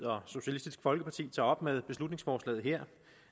og socialistisk folkeparti tager op med beslutningsforslaget her